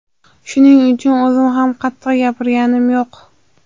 Shuning uchun o‘zim ham qattiq gapirganim yo‘q.